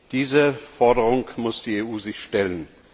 Dieser Forderung muss die EU sich stellen.